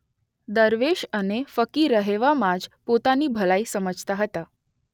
દરવેશ અને ફકીર રહેવામાં જ પોતાની ભલાઈ સમજતા હતા.